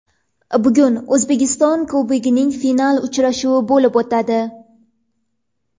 Bugun O‘zbekiston Kubogining final uchrashuvi bo‘lib o‘tadi.